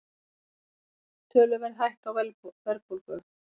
Töluverð hætta á verðbólgu